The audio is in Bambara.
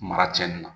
Mara cɛnni na